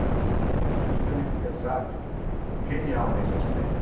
Era uma pessoa extremamente versátil, genial nesse aspecto.